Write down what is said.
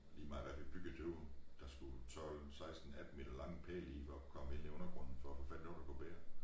Lige meget hvad vi byggede derude der skulle jo 12 16 18 meter lange pæle i for at kun komme ind i undergrunden for at få fat i noegte der kan bære